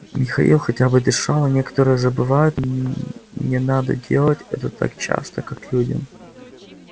михаил хотя бы дышал а некоторые забывают им не надо делать это так часто как людям